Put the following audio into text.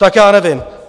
Tak já nevím.